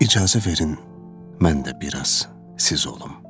İcazə verin mən də biraz siz olum.